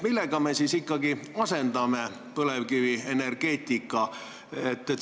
Millega me siis ikkagi põlevkivienergeetika asendame?